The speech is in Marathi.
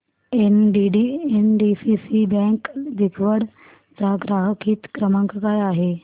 एनडीसीसी बँक दिघवड चा ग्राहक हित क्रमांक काय आहे